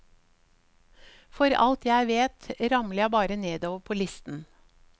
For alt jeg vet, ramler jeg bare nedover på listen.